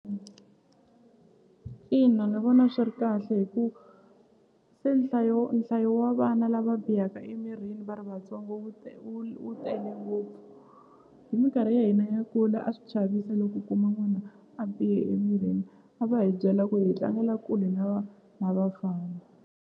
Ina ni vona swi ri kahle hi ku se nhlayo nhlayo wa vana lava bihaka emirini va ri vatsongo wu wu wu tele ngopfu hi minkarhi ya hina ya kula a swi chavisa loko u kuma n'wana a bihe emirini a va hi byela ku hi tlangela kule na na vafana.